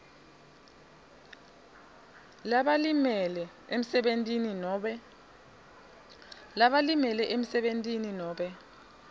labalimele emsebentini nobe